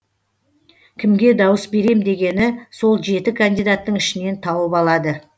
кімге дауыс берем дегені сол жеті кандидаттың ішінен тауып алады